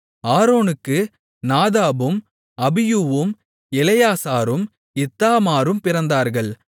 ஆரோனுக்கு நாதாபும் அபியூவும் எலெயாசாரும் இத்தாமாரும் பிறந்தார்கள்